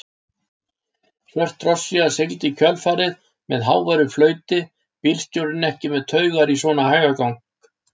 Svört drossía sigldi í kjölfarið með háværu flauti, bílstjórinn ekki með taugar í svona hægagang.